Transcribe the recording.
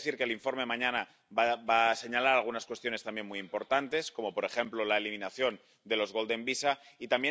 Tengo que decir que el informe, mañana, va a señalar algunas cuestiones también muy importantes, como por ejemplo la eliminación de los visados de oro